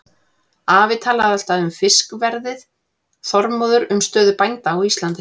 Afi talaði alltaf um fiskverðið, Þormóður um stöðu bænda á Íslandi.